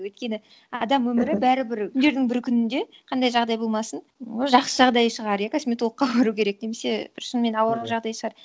өйткені адам өмірі бәрібір күндердің бір күнінде қандай жағдай болмасын жақсы жағдай шығар иә косметологқа бару керек немесе бір шынымен ауыр жағдай шығар